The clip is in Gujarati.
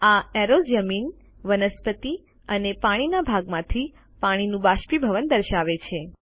આ એરોઝ જમીન વનસ્પતિ અને પાણીના ભાગમાંથી પાણીનું બાષ્પીભવન દર્શાવે છે